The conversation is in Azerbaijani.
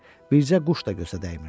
Bircə quş da gözə dəymirdi.